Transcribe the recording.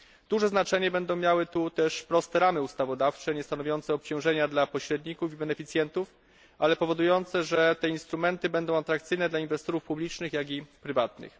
Duże znaczenie będą miały w tym zakresie proste ramy ustawodawcze niestanowiące obciążenia dla pośredników i beneficjentów ale powodujące, że te instrumenty będą atrakcyjne zarówno dla inwestorów publicznych, jak i prywatnych.